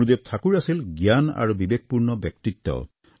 গুৰুদেৱ ঠাকুৰৰ আছিল জ্ঞান আৰু বিবেকপূৰ্ণ ব্যক্তিত্ব